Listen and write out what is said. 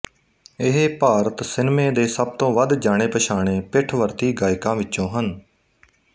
ਇਹ ਭਾਰਤ ਸਿਨਮੇ ਦੇ ਸਭ ਤੋਂ ਵੱਧ ਜਾਣੇਪਛਾਣੇ ਪਿੱਠਵਰਤੀ ਗਾਇਕਾਂ ਵਿਚੋਂ ਹਨ